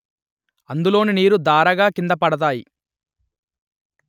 అందులోని నీరు దారగా కింద పడతాయి